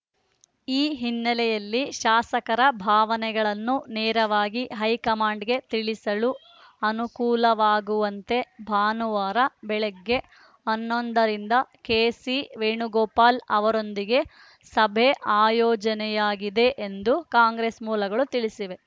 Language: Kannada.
ಈ ಹಿನ್ನೆಲೆಯಲ್ಲಿ ಶಾಸಕರ ಭಾವನೆಗಳನ್ನು ನೇರವಾಗಿ ಹೈಕಮಾಂಡ್‌ಗೆ ತಿಳಿಸಲು ಅನುಕೂಲವಾಗುವಂತೆ ಭಾನುವಾರ ಬೆಳಗ್ಗೆ ಹನ್ನೊಂದ ರಿಂದ ಕೆಸಿ ವೇಣುಗೋಪಾಲ್‌ ಅವರೊಂದಿಗೆ ಸಭೆ ಆಯೋಜನೆಯಾಗಿದೆ ಎಂದು ಕಾಂಗ್ರೆಸ್‌ ಮೂಲಗಳು ತಿಳಿಸಿವೆ